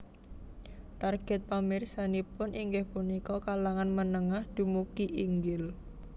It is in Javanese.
Targèt pamirsanipun inggih punika kalangan menengah dumugi inggil